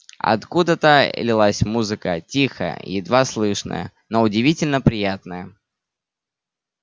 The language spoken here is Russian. откуда-то лилась музыка тихая едва слышная но удивительно приятная